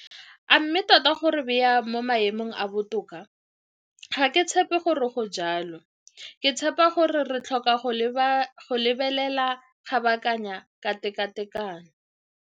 A mme tota go re baya mo maemong a a botoka? Ga ke tshepe gore go jalo. Ke tshepa gore re tlhoka go lebelela kabakanya ka tekatekano.